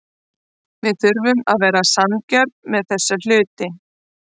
Við þurfum að vera sanngjörn með þessa hluti.